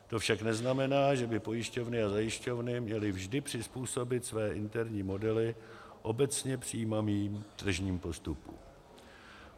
To však neznamená, že by pojišťovny a zajišťovny měly vždy přizpůsobit své interní modely obecně přijímaným tržním postupům.